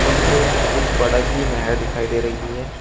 पीछे कुछ बड़े सी नहर दिखाई दे रही है।